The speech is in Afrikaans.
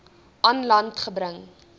aan land gebring